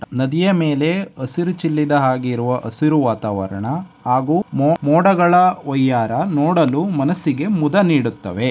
ನದಿಯ ಮೇಲೆ ಹಸಿರು ಚಿಲ್ಲಿದ ಹಸಿರು ವಾತಾವರಣ ಹಾಗು ಮೊಡ-ಮೋಡಗಳ ವೈಯಾರ ನೋಡಲು ಮನಸ್ಸಿಗೆ ಮುದ ನೀಡುತವೆ.